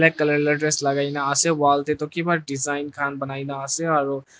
Black colour la dress lagaina ase wall dae toh kiba design khan banaikena ase aro--